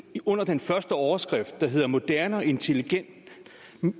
under den første overskrift som hedder moderne og intelligent